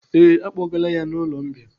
Ee, à kpọgaala ya n'ụlọ mbìa.